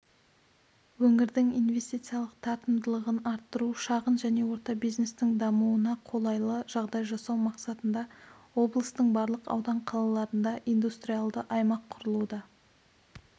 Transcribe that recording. өңірдің инвестициялық тартымдылығын арттыру шағын және орта бизнестің дамуына қолайлы жағдай жасау мақсатында облыстың барлық аудан қалаларында индустриалды аймақ құрылуда